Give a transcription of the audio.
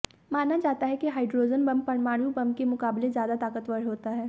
माना जाता है कि हाइड्रोजन बम परमाणु बम के मुकाबाले ज्यादा ताकतवर होता है